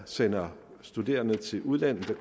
sender studerende til udlandet så